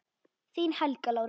Þín, Helga Lára.